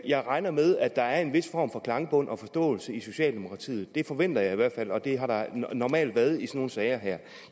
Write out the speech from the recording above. jeg regner med at der er en vis form for klangbund og forståelse i socialdemokratiet det forventer jeg i hvert fald og det har der normalt været i nogle sager her